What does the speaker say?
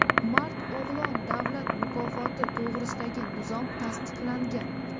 "Mard o‘g‘lon" davlat mukofoti to‘g‘risidagi nizom tasdiqlangan.